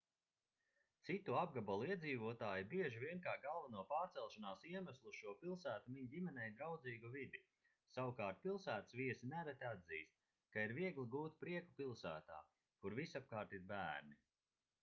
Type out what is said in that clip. citu apgabalu iedzīvotāji bieži vien kā galveno pārcelšanās iemeslu uz šo pilsētu min ģimenei draudzīgu vidi savukārt pilsētas viesi nereti atzīst ka ir viegli gūt prieku pilsētā kur visapkārt ir bērni